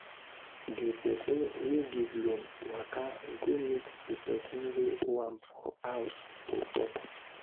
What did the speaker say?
di person wey give loan waka go meet di person wey owe am for house to talk.